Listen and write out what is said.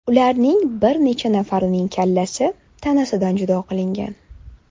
Ulardan bir necha nafarining kallasi tanasidan judo qilingan.